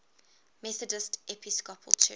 methodist episcopal church